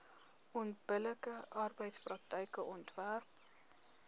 onbillike arbeidspraktyke onderwerp